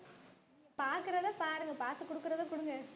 பாக்குறத பாருங்க பாத்து குடுக்குறத குடுங்க.